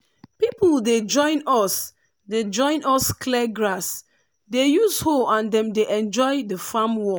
people dey join us dey join us clear grass dey use hoe and dem dey enjoy the farm work.